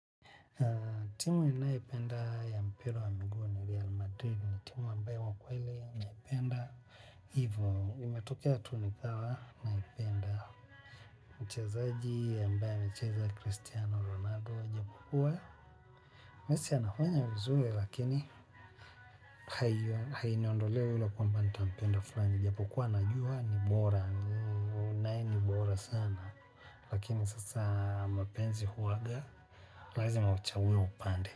Timu ninayo ipenda ya mpira wa miguu ni Real Madrid ni timu ambayo kwakweli naipenda. Hivyvo, imetokea tu nikawa naipenda. Mchezaji ya ambae anacheza Christiano Ronaldo. Japo kuwa, mesi anafanya vizuri lakini hainiondolei hilo kwamba nita mpenda fulani. Japokua najua ni bora nae no bora sana lakini sasa mapenzi huwaga lazima uchague upande.